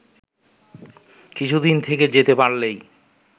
কিছুদিন থেকে যেতে পারলেই